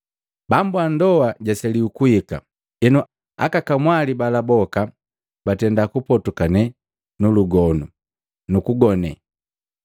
Bambu ndoa jwaseliwi kuhika, henu aka kamwali bala boka batenda kupotoka nulugonu, nukugone.